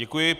Děkuji.